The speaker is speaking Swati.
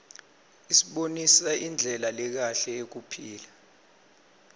isibonisa indlela lekahle yekuphila